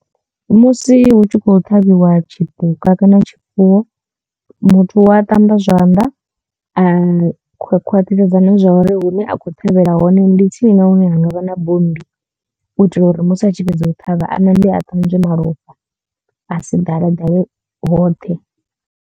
Musi hu tshi khou ṱhavhiwa tshipuka kana tshifuwo muthu u a ṱamba zwanḓa a khwathisedza na zwa uri hune a khou ṱhavhela hone ndi tsini na hune ha nga vha na bommbi u itela uri musi a tshi fhedza u ṱhavha a ṋambe a ṱanzwe malofha a si ḓala ḓale hoṱhe.